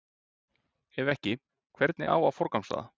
Ef ekki, hvernig á að forgangsraða?